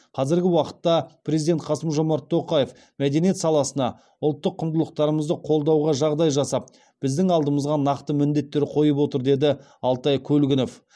қазіргі уақытта президент қасым жомарт тоқаев мәдениет саласына ұлттық құндылықтарымызды қолдауға жағдай жасап біздің алдымызға нақты міндеттер қойып отыр деді алтай көлгінов